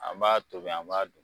An b'a tobi an b'a dun